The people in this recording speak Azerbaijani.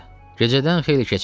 Gecədən xeyli keçmişdi.